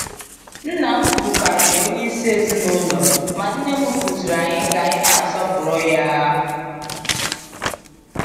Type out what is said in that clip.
Nna m bụkarị onye isi ezinụlọ, ma Nne m kụziri anyị ka anyị na-asọpụrụ ya.